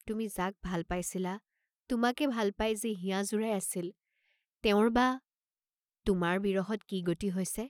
তুমি যাক ভাল পাইছিলা, তোমাকে ভাল পাই যি হিয়া জুৰাই আছিল, তেওঁৰ বা তোমাৰ বিৰহত কি গতি হৈছে?